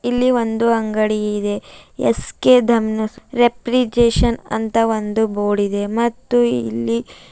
ಇಲ್ಲಿ ಒಂದು ಅಂಗಡಿ ಇದೆ ಎಸ್_ಕೆ ದಮ್ನೆರ್ ರಿಫ್ರೆಜಿರೇಷನ್ ಅಂತ ಒಂದು ಬೋರ್ಡ್ ಇದೆ ಮತ್ತು ಇಲ್ಲಿ--